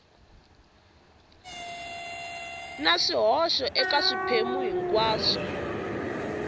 na swihoxo eka swiphemu hinkwaswo